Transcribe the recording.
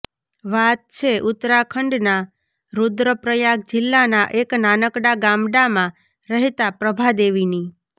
વાત છે ઉત્તરાખંડના રુદ્રપ્રયાગ જિલ્લાના એક નાનકડાં ગામડામાં રહેતા પ્રભાદેવીની